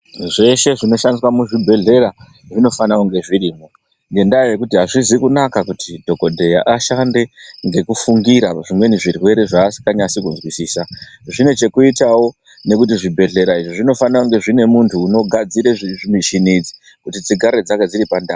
Zveshe zvinoshandiswa muzvibhendlera zvinofana kunga zvirimwo. Ngenyaya yekuti azvizi kunaka kuti dhokodheya ashande ngekufungira kuti zvimweni zvirwere zvaasinganyasi kuzwisisa. Zvine chekuitawo nekuti zvibhedhlera izvi zvinofana kunga zvine muntu unogadzira michini idzi. Kuti dzigare dziri pandau.